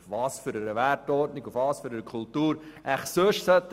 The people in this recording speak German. Auf welcher Kultur und Wertordnung sollen sie denn bitte sonst aufbauen?